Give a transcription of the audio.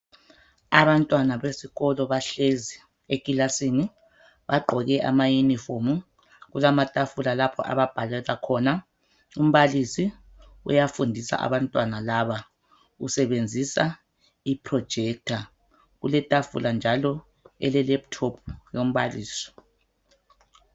Abantwana besikolo bahlezi ekilasini bagqoke amayunifomu kulamatafula lapha ababhalela khona. Umbalisi uyafundisa abantwana laba usebenzisa iprojekitha kuletafula njalo elelephuthophu yombalisi.